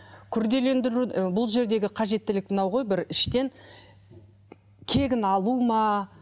күрделендіру і бұл жердегі қажеттілік мынау ғой бір іштен кегін алу ма